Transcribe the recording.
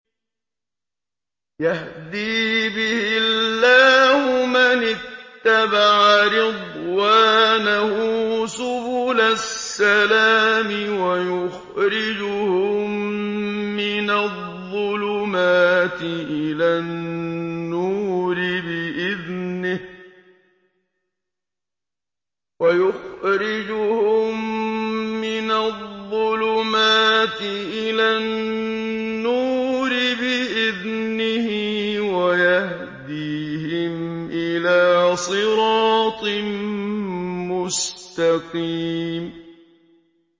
يَهْدِي بِهِ اللَّهُ مَنِ اتَّبَعَ رِضْوَانَهُ سُبُلَ السَّلَامِ وَيُخْرِجُهُم مِّنَ الظُّلُمَاتِ إِلَى النُّورِ بِإِذْنِهِ وَيَهْدِيهِمْ إِلَىٰ صِرَاطٍ مُّسْتَقِيمٍ